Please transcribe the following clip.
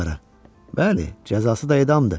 Bəli, cəzası da edamdır.